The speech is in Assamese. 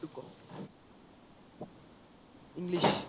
english